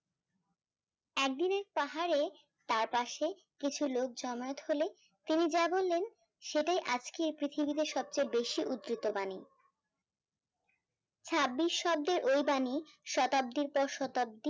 একদিনে পাহাড়ে তার পাশে কিছু লোক জমায়েত হলে তিনি যা বললেন সেটাই আজকে এই পৃথিবীতে সব চেয়ে বেশি উদৃত বাণী হ্যাঁ নিঃশব্দে ওই বাণী শতাব্দীর পর শতাব্দী